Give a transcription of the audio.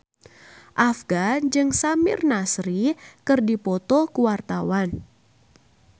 Afgan jeung Samir Nasri keur dipoto ku wartawan